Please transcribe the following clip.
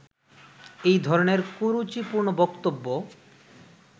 এই ধরণের কুরুচিপূর্ণ বক্তব্য